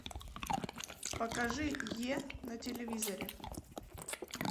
покажи е на телевизоре